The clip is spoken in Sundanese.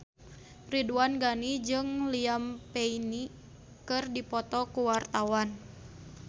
Ridwan Ghani jeung Liam Payne keur dipoto ku wartawan